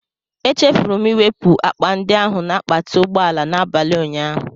Echefuru m iwepụ akpa ndị ahụ na akpati ụgbọ ala n'abalị ụnyaahụ.